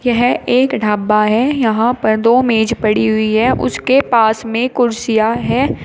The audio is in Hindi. यह एक ढाबा है यहां पर दो मेज पड़ी हुई है उसके पास में कुर्सियां है।